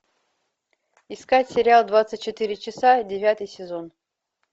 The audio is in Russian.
искать сериал двадцать четыре часа девятый сезон